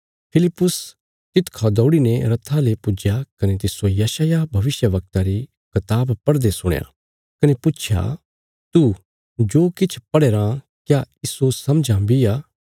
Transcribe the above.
फिलिप्पुस तिसखा दौड़ीने रथा ले पुज्या कने तिस्सो यशायाह भविष्यवक्ता री कताब पढ़दे सुणया कने पुच्छया तू जो किछ पढ़या राँ क्या इस्सो समझां बी आ